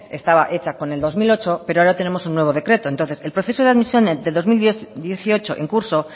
estaba hecha con el dos mil ocho pero ahora tenemos un nuevo decreto entonces el proceso de admisión de dos mil dieciocho en curso